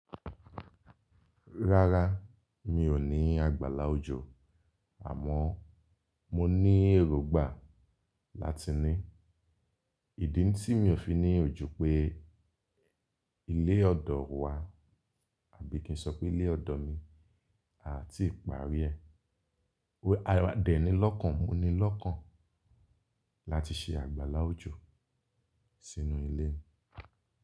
Rárá, mi ò ní àgbàlá òjò àmọ́ mo ní èrògbà láti ní. Ìdí tí mi ò fi ní òjò pé ilé ọ̀dọ̀ wa àbí kí n sọ pé ilé ọ̀dọ̀ mi àati parí ẹ̀, a dẹ́ni lọ́kàn mó ni lọ́kàn láti ṣe àgbàlá òjò sínú ilé mi.